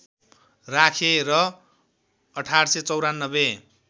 राखे र १८९४